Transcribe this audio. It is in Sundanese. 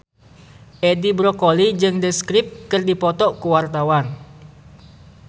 Edi Brokoli jeung The Script keur dipoto ku wartawan